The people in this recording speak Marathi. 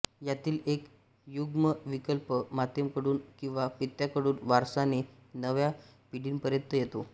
यातील एक युग्मविकल्प मातेकडून किंवा पित्याकडून वारसाने नव्या पिढीपर्यंत येतो